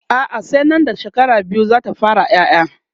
a'a sai Nan da shekara biyu zata fara ƴaƴa